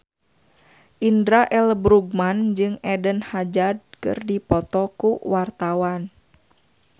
Indra L. Bruggman jeung Eden Hazard keur dipoto ku wartawan